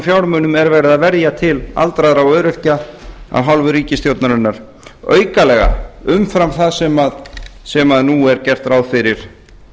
fjármunum er verið að verja til aldraðra og öryrkja af hálfu ríkisstjórnarinnar aukalega umfram það sem nú er gert ráð fyrir